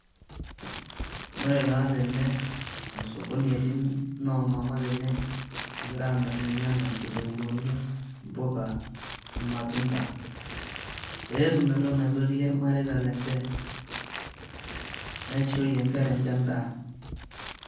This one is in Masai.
Ore taa tene amu osokoni etii noo mama tene egira aamirr irnyanya, inkitunguuni, mpuka, irmatunda peyie etum entoki naitotiyie irmareita lenye neishorie nkera enye endaa.